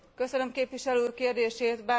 Köszönöm képviselő úr kérdését.